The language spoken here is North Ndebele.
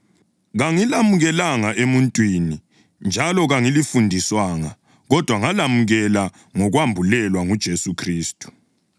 Kangilamukelanga emuntwini njalo kangilifundiswanga; kodwa ngalamukela ngokwambulelwa nguJesu Khristu.